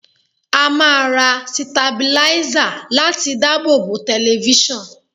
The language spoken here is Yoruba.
A máa ra sitabiláísà láti dábòbò tẹlifíṣàn.